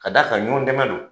Ka d'a kan ɲɔn dɛmɛ don.